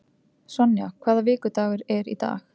Sonja, hvaða vikudagur er í dag?